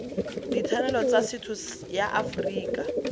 ditshwanelo tsa setho ya aforika